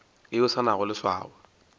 yeo e se nago leswao